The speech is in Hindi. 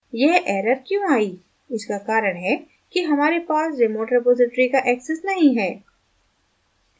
यह error क्यों आयी इसका कारण है कि हमारे पास remote repository का access नहीं है